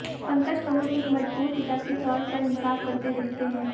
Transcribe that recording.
पंकज कपूर एक मजबूर पिता के तौर पर इंसाफ करते दिखते हैं